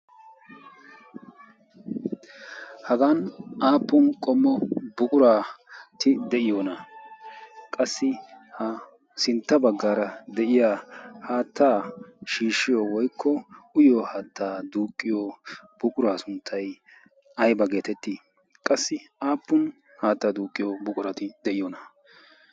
hagan aappun qommo buquraati de'iyoona qassi ha sintta baggaara de'iya haattaa shiishshiyo woykko uyyo haattaa duuqqiyo buquraa sunttay ayba geetettii qassi aappun haattaa duuqqiyo buquraati deyiyoona?